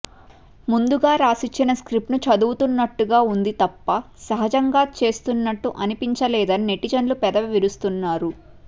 ముందుగా రాసిచ్చిన స్క్రిప్ట్ను చదువుతున్నట్టుగా ఉంది తప్ప సహజంగా చేస్తున్నట్టు అనిపించలేదని నెటిజన్లు పెదవి విరుస్తున్నారు